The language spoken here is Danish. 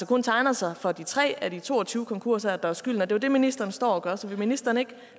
kun tegner sig for de tre af de to og tyve konkurser der har skylden det er jo det ministeren står og gør så vil ministeren ikke